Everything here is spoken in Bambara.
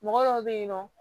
Mɔgɔ dɔw bɛ yen nɔ